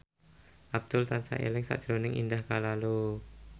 Abdul tansah eling sakjroning Indah Kalalo